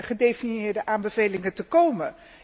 gedefinieerde aanbevelingen te komen?